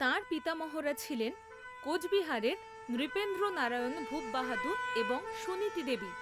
তাঁর পিতামহরা ছিলেন কোচবিহারের নৃপেন্দ্র নারায়ণ ভূপ বাহাদুর এবং সুনীতি দেবী।